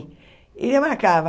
E ele marcava.